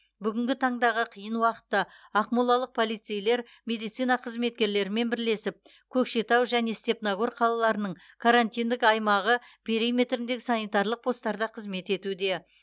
бүгінгі таңдағы қиын уақытта ақмолалық полицейлер медицина қызметкерлерімен бірлесіп көкшетау және степногор қалаларының карантиндік аймағы периметіріндегі санитарлық постарда қызмет етуде